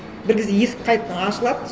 бір кезде есік қайта ашылады